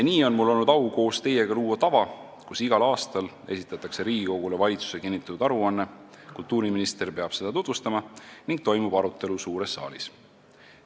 Nii on mul olnud au koos teiega luua tava, mille järgi esitatakse igal aastal Riigikogule valitsuse kinnitatud aruanne, mida peab tutvustama kultuuriminister ning mille üle toimub suures saalis arutelu.